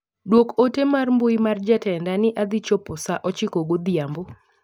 Duok ote mar mbui mar jotenda ni adhi chopo saa ochiko godhiambo.